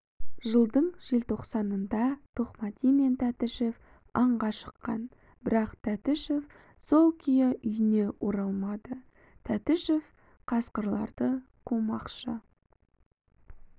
жылдың желтоқсанында тоқмәди мен тәтішев аңға шыққан бірақ тәтішев сол күйі үйіне оралмады тәтішев қасқырларды қумақшы